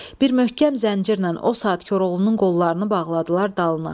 Bir möhkəm zəncirlə o saat Koroğlunun qollarını bağladılar dalına.